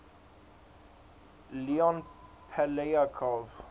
leon poliakov